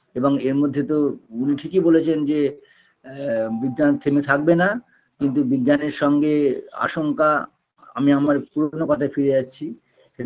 এবং এর মধ্যে তো উনি ঠিকই বলেছেন যে আ বিজ্ঞান থেমে থাকবে না কিন্তু বিজ্ঞানের সঙ্গে আশঙ্কা আমি আমার পুরোনো কথায় ফিরে আসছি